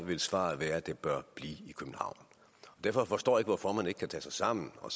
vil svaret være at det bør blive i københavn derfor forstår jeg ikke hvorfor man ikke kan tage sig sammen og